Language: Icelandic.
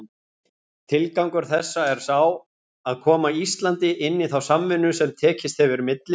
Tilgangur þessa er sá, að koma Íslandi inn í þá samvinnu, sem tekist hefur milli